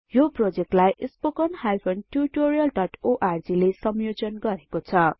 यो प्रोजेक्टलाई spoken tutorialओर्ग ले संयोजन गरेको छ